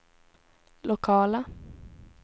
lokala